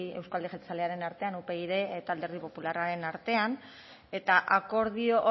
euzko alderdi jeltzalearen artean upyd eta alderdi popularraren artean eta akordio